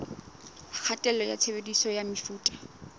kgatello ya tshebediso ya mefuta